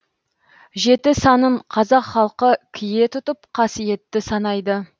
жеті санын қазақ халқы кие тұтып қасиетті санайды